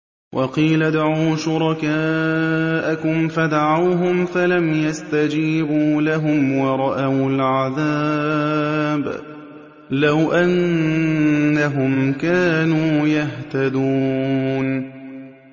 وَقِيلَ ادْعُوا شُرَكَاءَكُمْ فَدَعَوْهُمْ فَلَمْ يَسْتَجِيبُوا لَهُمْ وَرَأَوُا الْعَذَابَ ۚ لَوْ أَنَّهُمْ كَانُوا يَهْتَدُونَ